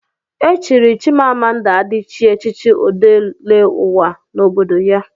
Echiri Chimamanda Adichie echichi Odeleụwa n'obodo ya.